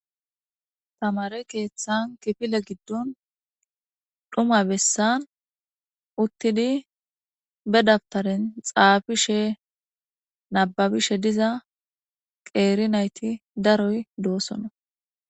Tamareti kifile gidon dhuma besan utidi badawutaren xapishe nababishe diza qeri nayiti daroy do'sona